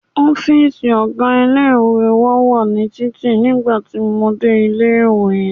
Ọ́fíìsì ọ̀gá ilé-ìwé wa ní títì nígbà tí mo dé ilé-ìwé.